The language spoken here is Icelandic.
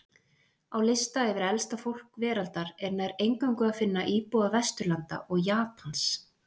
Á lista yfir elsta fólk veraldar er nær eingöngu að finna íbúa Vesturlanda og Japans.